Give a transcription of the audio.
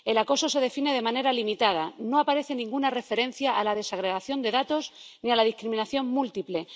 El acoso se define de manera limitada. No aparece ninguna referencia a la desagregación de datos ni a la discriminación múltiple.